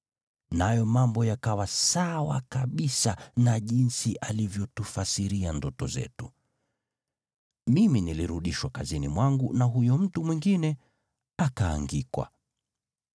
Nayo mambo yakawa sawa kabisa na jinsi alivyotufasiria ndoto zetu: Mimi nilirudishwa kazini mwangu na huyo mtu mwingine akaangikwa.”